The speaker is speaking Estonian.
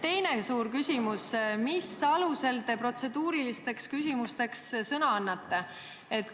Teine suur küsimus: mis alusel te protseduurilisteks küsimusteks sõna annate?